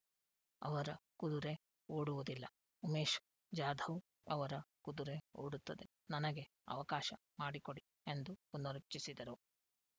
ಅವರ ಕುದುರೆ ಓಡುವುದಿಲ್ಲ ಉಮೇಶ್ ಜಾಧವ್ ಅವರ ಕುದುರೆ ಓಡುತ್ತದೆ ನನಗೆ ಅವಕಾಶ ಮಾಡಿಕೊಡಿ ಎಂದು ಪುನರುಚ್ಚರಿಸಿದರು